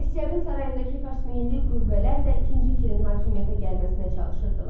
Astiaqın sarayındakı farsməyilli qüvvələr də ikinci Kirin hakimiyyətə gəlməsinə çalışırdılar.